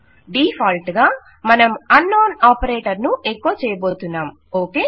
default గా మనం unknown operator ను ఎకొ చేయబోతున్నాము ఓకే